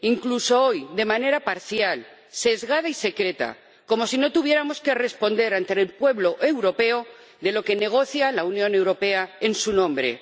Incluso hoy, de manera parcial, sesgada y secreta, como si no tuviéramos que responder ante el pueblo europeo de lo que negocia la Unión Europea en su nombre.